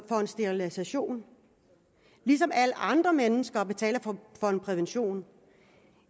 sterilisation alle andre mennesker betaler for prævention